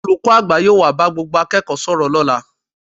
Olùkọ́ àgbà yóò wá bá gbogbo akẹ́kọ̀ọ́ sọ̀rọ̀ lọ́la